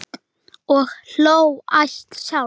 Og hló hæst sjálf.